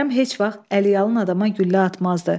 Kərəm heç vaxt Əliyalın adama güllə atmazdı.